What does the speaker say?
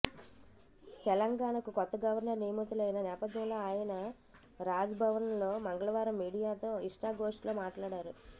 తెలంగాణకు కొత్త గవర్నర్ నియమితులైన నేపథ్యంలో ఆయన రాజ్భవన్లో మంగళవారం మీడియాతో ఇష్టాగోష్ఠిలో మాట్లాడారు